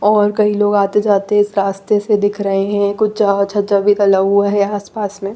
और कई लोग आते जाते इस रास्ते से दिख रहे है कुछ जला हुआ है आस पास मे।